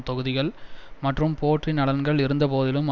தொகுதிகள் மற்றும் போட்டி நலன்கள் இருந்தபோதிலும்